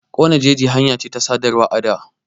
Ƙone jeji hanya ce ta sadarwa a da.